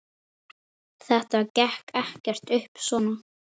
Hvar eiga þau að byrja?